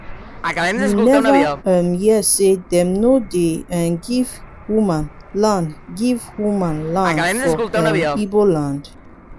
you neva um hear sey dem no um dey give woman land give woman land for um igbo land?